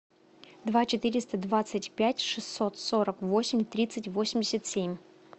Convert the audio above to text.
два четыреста двадцать пять шестьсот сорок восемь тридцать восемьдесят семь